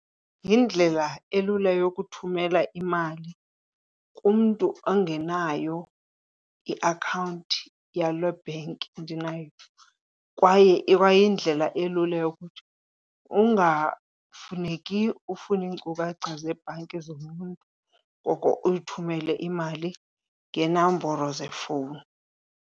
Yindlela elula yokuthumela imali kumntu ongenayo iakhawunti yale bank ndinayo. Kwaye ikwa yindlela elula yokuthi ungafuneki ufune iinkcukacha zebhanki zomnye umntu koko uyithumele imali ngeenamboro zefowuni.